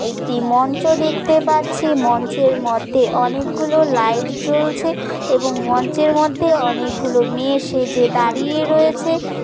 একটি মঞ্চ দেখতে পাচ্ছি। মঞ্চের মধ্যে অনেক গুলো লাইট জ্বলছে এবংমঞ্চের মধ্যে অনেক গুলো মেয়ে সেজে দাঁড়িয়ে রয়েছে।